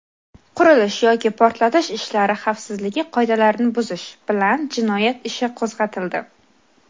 qurilish yoki portlatish ishlari xavfsizligi qoidalarini buzish) bilan jinoyat ishi qo‘zg‘atildi.